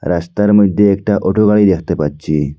রাস্তার মধ্যে একটা অটো গাড়ি দেখতে পাচ্ছি।